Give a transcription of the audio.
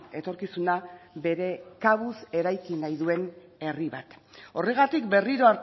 etorkizuna bere kabuz eraiki nahi duen herri bat horregatik berriro